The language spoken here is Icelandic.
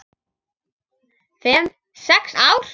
Fimm, sex ár?